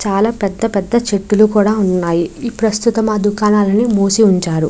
చాలా పెద్ద పెద్ద చెట్లులు కూడా ఉన్నాయి. ఈ ప్రస్తుతం ఆ దుకాణాలను మూసి ఉంచారు.